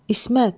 İsmət!